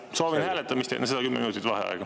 Jah, soovin hääletamist ja enne seda kümme minutit vaheaega.